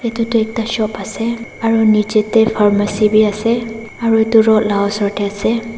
etutu ekta shop ase aro nejey tey pharmacy beh ase aro etu road la usor tey ase.